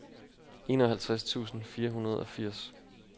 enoghalvtreds tusind fire hundrede og firs